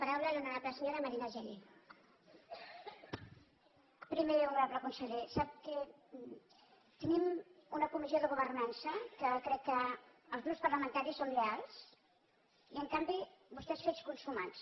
primer honorable conseller sap que tenim una comissió de governança que crec que els grups parlamentaris hi som lleials i en canvi vostè és fets consumats